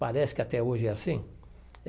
Parece que até hoje é assim.